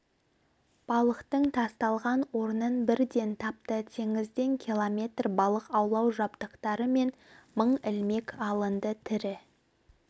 балықтың тасталған орнын бірден тапты теңізден километр балық аулау жабдықтары мен мың ілмек алынды тірі